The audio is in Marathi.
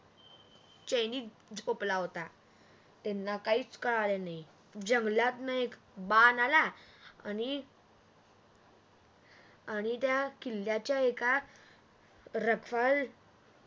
सैनिक झोपला होता. त्यांना काहीच कळाले नाही. जंगलातन एक बाण आला आणि त्या किल्याचा एका रथावर एक सैनिक झोपला होता. त्यांना काहीच कळाले नाही.